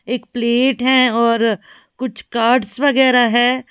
एक प्लेट है और कुछ कार्ड्स वगैरा है।